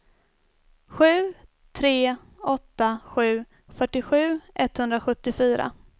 sju tre åtta sju fyrtiosju etthundrasjuttiofyra